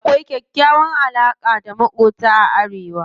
Akwai kyakkyawan alaƙa da maƙota a arewa.